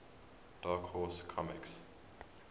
dark horse comics